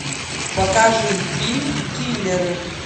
покажи фильм киллеры